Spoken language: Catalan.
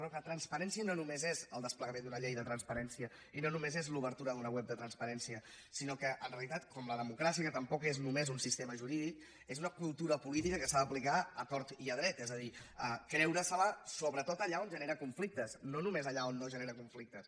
però clar transparència no només és el desplegament d’una llei de transparència i no només és l’obertura d’una web de transparència sinó que en realitat com la democràcia que tampoc és només un sistema jurídic és una cultura política que s’ha d’aplicar a tort i a dret és a dir creure se la sobretot allà on genera conflictes no només allà on no genera conflictes